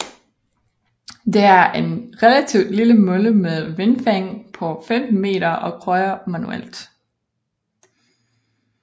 Det er en relativt lille mølle med et vindfang på 15 meter og krøjer manuelt